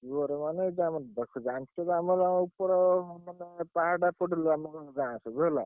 ଜୋରେ ମାନେ ଜାଣିଛ ତ ଆମର ଉପର ଗାଁ ସବୁ ହେଲା।